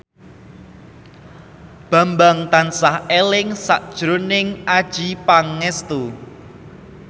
Bambang tansah eling sakjroning Adjie Pangestu